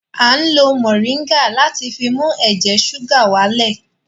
Mọ̀ríńgà láti fi mú ẹ̀jẹ̀ ṣúgà wá lẹ̀